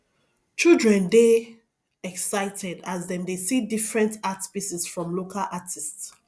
children dey excited as dem dey see different art pieces from local artists